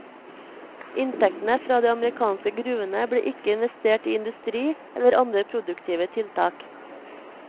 Inntektene fra de amerikanske gruvene ble ikke investert i industri eller andre produktive tiltak.